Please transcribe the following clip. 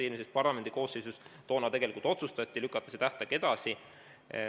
– eelmises parlamendikoosseisus toona tegelikult otsustati ja lükati see tähtaeg edasi.